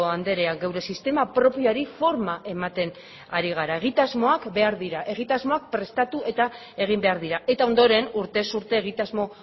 andrea geure sistema propioari forma ematen ari gara egitasmoak behar dira egitasmoak prestatu eta egin behar dira eta ondoren urtez urte egitasmo